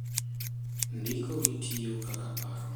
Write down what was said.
Ndiko gi tiyo kaka paro